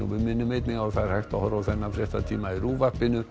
minnum einnig á að það er hægt að horfa á þennan fréttatíma í RÚV